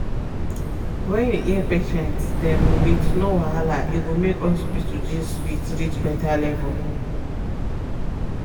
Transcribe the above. when you hear patient dem wit no wahala e go make hospital gist sweet reach better level.